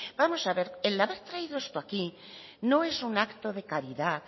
vamos a ver el haber traído esto aquí no es un acto de caridad